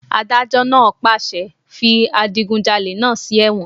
Adájọ́ náà pàṣẹ "fi adigunjalè náà sí ẹ̀wọ̀n!"